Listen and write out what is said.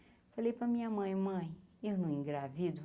Eu falei para minha mãe mãe, eu não engravido.